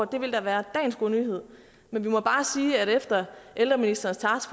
det ville da være dagens gode nyhed men vi må bare sige at efter at ældreministerens